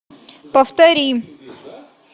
повтори